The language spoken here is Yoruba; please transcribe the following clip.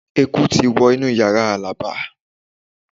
Eku ti wọ inú yàrá Alaba